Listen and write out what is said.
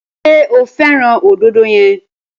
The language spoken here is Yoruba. Ṣé o fẹ́ràn òdòdó yẹn?